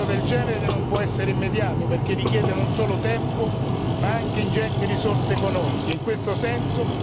Un cambiamento del genere non può essere immediato perché richiede non solo tempo, ma anche ingenti risorse economiche.